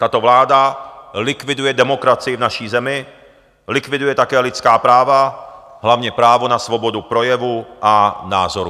Tato vláda likviduje demokracii v naší zemi, likviduje také lidská práva, hlavně právo na svobodu projevu a názorů.